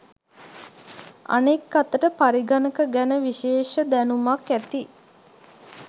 අනෙක් අතට පරිගණක ගැන විශේෂ දැනුමක් ඇති